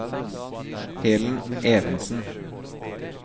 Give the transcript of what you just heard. Helen Evensen